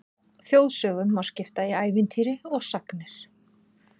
Þjóðsögum má skipta í ævintýri og sagnir.